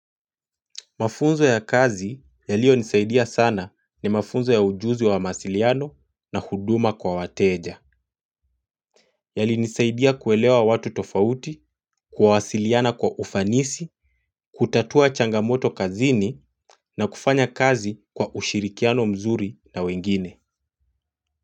Mafunzo ya kazi yaliyonisaidia sana ni mafunzo ya ujuzi wa mawasiliano na huduma kwa wateja. Yalinisaidia kuelewa watu tofauti, kuwasiliana kwa ufanisi, kutatua changamoto kazini na kufanya kazi kwa ushirikiano mzuri na wengine.